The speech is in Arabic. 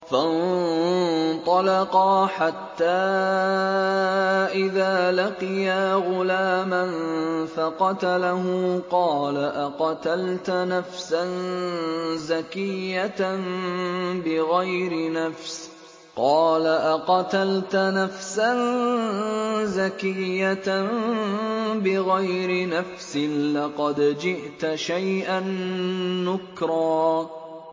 فَانطَلَقَا حَتَّىٰ إِذَا لَقِيَا غُلَامًا فَقَتَلَهُ قَالَ أَقَتَلْتَ نَفْسًا زَكِيَّةً بِغَيْرِ نَفْسٍ لَّقَدْ جِئْتَ شَيْئًا نُّكْرًا